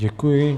Děkuji.